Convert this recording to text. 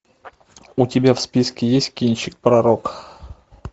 у тебя в списке есть кинчик пророк